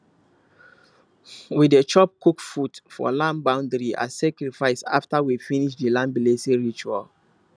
we dey drop cooked food for land boundary as sacrifice after we finish the land blessing ritual